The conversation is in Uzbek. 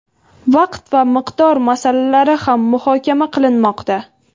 vaqt va miqdor masalalari ham muhokama qilinmoqda.